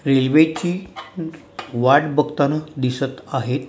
रेल्वेची वाट बघताना दिसत आहेत.